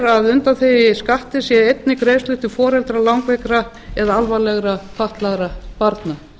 að undanþegið skatti séu einnig greiðslur til foreldra langveikra eða alvarlegra fatlaðra barna